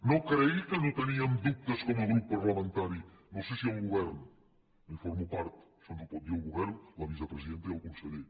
no cregui que no teníem dubtes com a grup parlamentari no sé si el govern no en formo part això ens ho pot dir el govern la vicepresidenta i el conseller